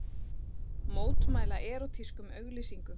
Mótmæla erótískum auglýsingum